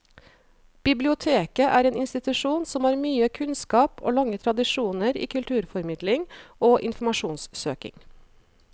Biblioteket er en institusjon som har mye kunnskap og lange tradisjoner i kulturformidling og informasjonssøking.